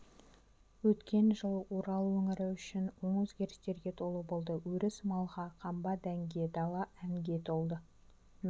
өткен жыл орал өңірі үшін оң өзгерістерге толы болды өріс малға қамба дәнге дала әнге толды